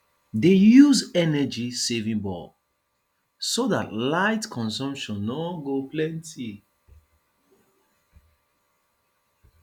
dey use energy saving bulb so dat light consumption no go plenty